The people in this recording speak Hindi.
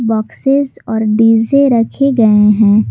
बॉक्सेस और डी_जे रखे गए हैं।